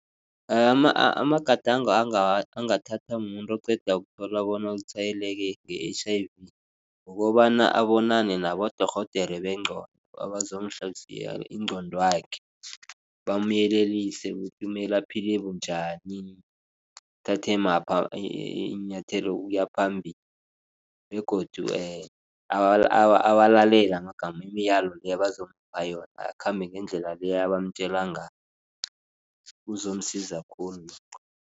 Amagadango angathathwa mumuntu oqeda ukuthola bona utshwayeleke nge-H_I_V. Kukobana abonane nabodorhodere bengqondo abazomhlola ingqondwakhe bamyelelise ukuthi kumele aphile bunjani. Athathe maphi iinyathelo ukuya phambili begodu awalalele amagama imiyalo le abazomupha yona akhambe ngendlela le abamtjela ngayo kuzomsiza khulu lokho.